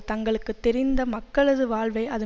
தங்களுக்கு தெரிந்த மக்களது வாழ்வை அது